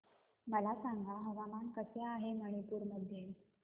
मला सांगा हवामान कसे आहे मणिपूर मध्ये